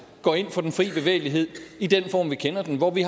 går ind for den frie bevægelighed i den form vi kender den hvor vi